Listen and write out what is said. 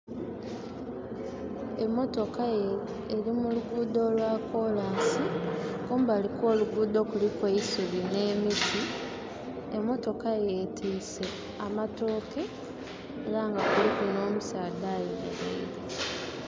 Emotooka eri muluguudo olwakolansi kumbali kwo'luhuudo kuliku eisubi ne'miti. Emotoka yetiise amatooke era ngakuliku no'musaadha ayemereire.